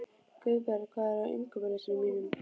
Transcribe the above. Guðberg, hvað er á innkaupalistanum mínum?